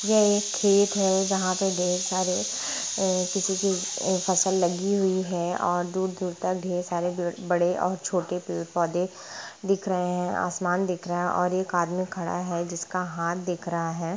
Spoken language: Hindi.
यह एक खेत है जहा पे ढेर सारे अ-अ-अ किसके अ-अ-अ फसल लगी हुई है और दूर दूर तक ढेर सारे बड़े और छोटे पेड़ पौधे दिख रहे है और आसमान दिख रहा है और एक आदमी खड़ा हुआ है जिसका हाथ दिख रहा है।